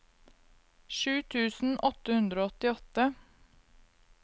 sju tusen åtte hundre og åttiåtte